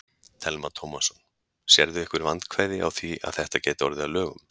Telma Tómasson: Sérðu einhver vandkvæði á því að þetta gæti orðið að lögum?